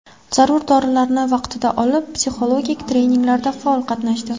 Zarur dorilarni vaqtida olib, psixologik treninglarda faol qatnashdi.